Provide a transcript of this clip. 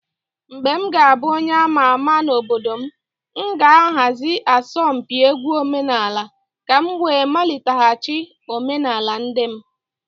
When I will become a prominent person in my community, I will organize a folk song competition in order to revive the tradition of my people